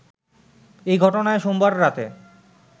এই ঘটনায় সোমবার রাতে